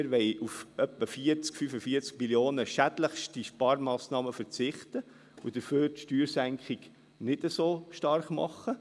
Wir wollen mit etwa 40–45 Mio. Franken auf schädlichste Sparmassnahmen verzichten und dafür die Steuersenkung nicht so stark machen.